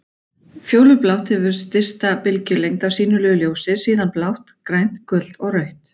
Fjólublátt hefur stysta bylgjulengd af sýnilegu ljósi, síðan blátt, grænt, gult og rautt.